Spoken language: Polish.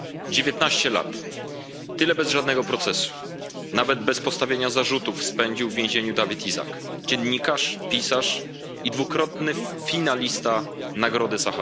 Dziewiętnaście lat tyle bez żadnego procesu, nawet bez postawienia zarzutów, spędził w więzieniu Dawit Isaak, dziennikarz, pisarz i dwukrotny finalista Nagrody im.